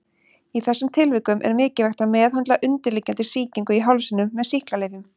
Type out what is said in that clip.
Í þessum tilvikum er mikilvægt að meðhöndla undirliggjandi sýkingu í hálsinum með sýklalyfjum.